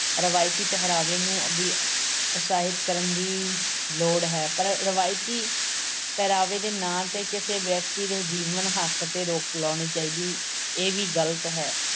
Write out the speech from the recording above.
ਰਵਾਇਤੀ ਪਹਿਰਾਵੇ ਨੂੰ ਵੀ ਉਤਸ਼ਾਹਿਤ ਕਰਨ ਦੀ ਲੋੜ ਹੈ ਪਰ ਰਵਾਇਤੀ ਪਹਿਰਾਵੇ ਦੇ ਨਾਂ ਤੇ ਕਿਸੇ ਵਿਅਕਤੀ ਦੇ ਜੀਵਨ-ਹੱਕ ਤੇ ਰੋਕ ਲਾਉਣੀ ਚਾਹੀਦੀ ਇਹ ਵੀ ਗ਼ਲਤ ਹੈ।